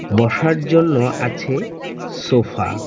বসার জন্য আছে সোফা ।